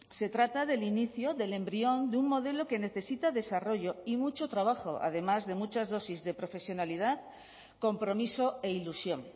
se trata del inicio del embrión de un modelo que necesita desarrollo y mucho trabajo además de muchas dosis de profesionalidad compromiso e ilusión